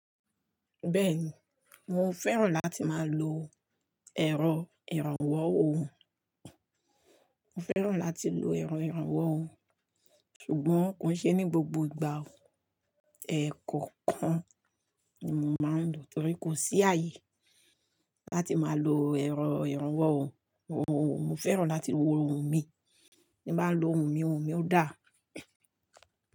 Bẹ́ẹ̀ni, mo fẹ́ràn láti má lo ẹ̀rọ ìrànwọ́ ohùn. Mo fẹ́ràn láti lo ẹ̀rọ ìrànwọ́ ohùn ṣùgbọ́n kò ṣe ní gbogbo ìgbà. Ẹ̀kọ́ kan ni mo máa ń lò torí kò sí ààyè láti má lo ẹ̀rọ ìrànwọ́ ohùn. Mo fẹ́ràn láti lo ohùn mi. Bí mo bá lo ohùn mi, ohùn mi ó dáa.